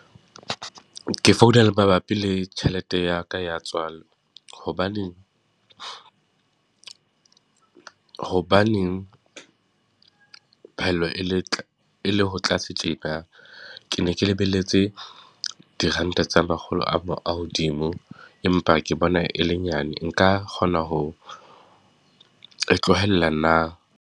Ke founa mabapi le tjhelete ya ka ya tswala. Hobane, hobaneng phaello e le e le ho tlase tjena? Ke ne ke lebelletse diranta tse makgolo a hodimo, empa ke bona e le nyane, nka kgona ho e tlohella na?